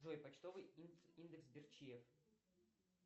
джой почтовый индекс берчии